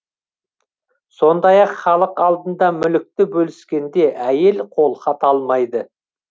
сондай ақ халық алдында мүлікті бөліскенде әйел қолхат алмайды